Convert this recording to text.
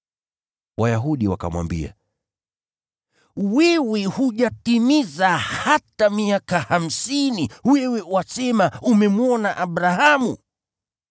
Wayahudi wakamwambia, “Wewe hujatimiza hata miaka hamsini, wewe wasema umemwona Abrahamu?”